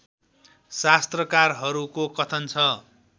शास्त्रकारहरूको कथन छ